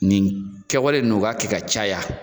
Nin kɛwale nun u ka kɛ ka caya.